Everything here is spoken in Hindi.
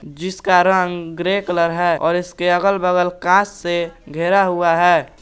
जिसका रंग ग्रे कलर है और इसके अगल बगल कांच से घेरा हुआ है।